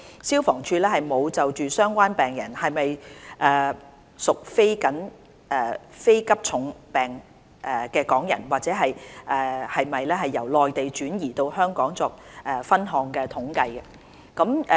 消防處沒有就相關病人是否屬非急重病港人或是否由內地轉移到香港作分項統計。